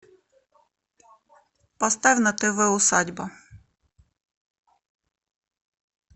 поставь на тв усадьба